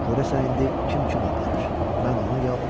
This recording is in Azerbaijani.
Görəsən indi kim kimi aparır: mən onu, ya o məni?